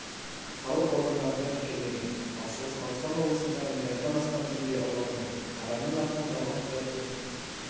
салық органдарында тіркелмеген ал шығыс қазақстан облысында миллиардтан астам теңге ұрланды адамның атынан жалған құжатпен